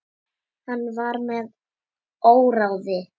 Hann var með óráði.